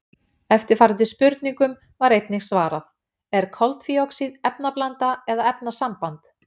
Eftirfarandi spurningum var einnig svarað: Er koltvíoxíð efnablanda eða efnasamband?